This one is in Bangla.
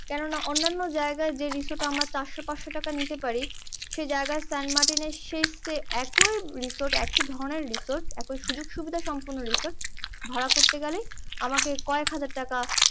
কেননা অন্ন্যানো জায়গায় যে রিসোর্ট আমরা চারশো পাঁচশো টাকায় নিতে পারি সে জায়গায় সেন্ট মার্টিন এ একই রিসোর্ট একই ধরণের রিসোর্ট ওই সুযোগসুবিধা সম্পন্ন রিসোর্ট ভাড়া করতে গেলেই আমাকে কয়েক হাজার টাকা